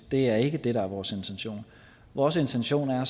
det er ikke det der er vores intention vores intention er at